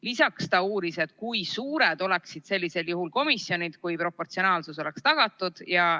Lisaks ta uuris, kui suured oleksid sellisel juhul komisjonid, kui proportsionaalsus oleks tagatud.